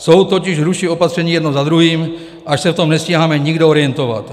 Soud totiž ruší opatření jedno za druhým, až se v tom nestíháme nikdo orientovat.